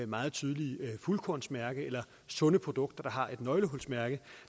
meget tydelige fuldkornsmærke eller sunde produkter der har et nøglehulsmærke